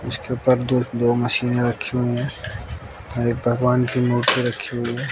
उसके पास दो दो मशीने रखी हुई है अ एक भगवान की मूर्ति रखी हुई--